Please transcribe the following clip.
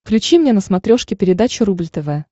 включи мне на смотрешке передачу рубль тв